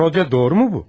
Rodion, doğru mu bu?